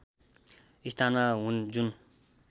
स्थानमा हुन् जुन